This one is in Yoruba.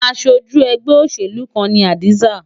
Aṣojú ẹgbẹ́ òṣèlú kan ni Hadiza.